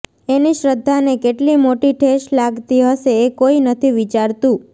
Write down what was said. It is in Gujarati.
એની શ્રદ્ધાને કેટલી મોટી ઠેસ લાગતી હશે એ કોઈ નથી વિચારતું